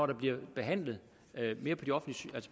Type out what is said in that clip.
der bliver behandlet